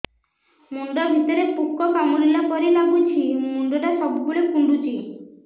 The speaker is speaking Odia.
ମୁଣ୍ଡ ଭିତରେ ପୁକ କାମୁଡ଼ିଲା ପରି ଲାଗୁଛି ମୁଣ୍ଡ ଟା ସବୁବେଳେ କୁଣ୍ଡୁଚି